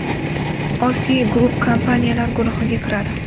OSI Group kompaniyalar guruhiga kiradi.